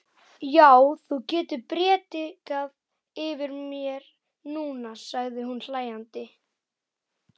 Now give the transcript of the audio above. Já, þú getur prédikað yfir mér núna, sagði hún hlæjandi.